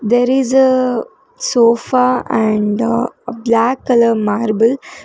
there is a sofa and a black colour marble.